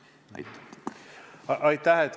Aitäh!